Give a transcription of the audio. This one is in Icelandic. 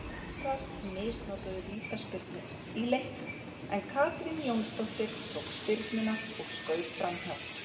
Valsarar misnotuðu vítaspyrnu í leiknum en Katrín Jónsdóttir tók spyrnuna og skaut framhjá.